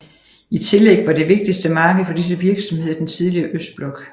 I tillæg var det vigtigste marked for disse virksomheder den tidligere østblok